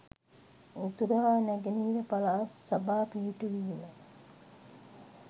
උතුර හා නැගෙනහිර පළාත් සභා පිහිටු වීම